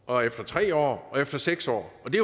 og efter tre år og efter seks år og det